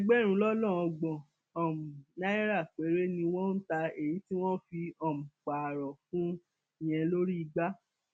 ẹgbẹrún lọnà ọgbọn um náírà péré ni wọn ń ta èyí tí wọn fi um pààrọ fún un yẹn lórí igbá